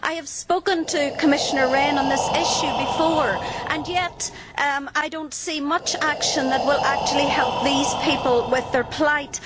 I have spoken to Commissioner Rehn on this issue previously and yet I do not see much action that will actually help these people with their plight.